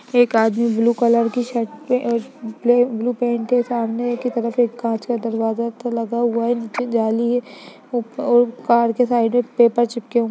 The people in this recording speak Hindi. एक आदमी ब्लू कलर की शर्ट पे अ ब ब्लू पैंट की सामने की तरफ एक काँच का दरवाजा एक तो लगा हुआ नीचे जाली है उप उप कार के साइड में पेपर चिपके हुए।